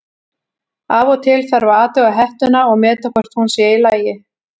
Af og til þarf að athuga hettuna og meta hvort hún sé í lagi.